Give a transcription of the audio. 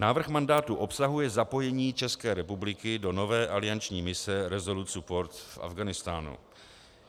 Návrh mandátu obsahuje zapojení České republiky do nové alianční mise Resolute Support v Afghánistánu.